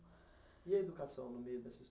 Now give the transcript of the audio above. E a educação no meio dessa história